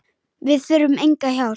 Við þurfum enga hjálp.